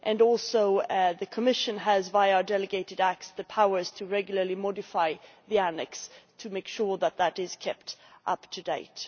Also, the Commission has, via delegated acts, the powers to regularly modify the Annex to make sure that it is kept up to date.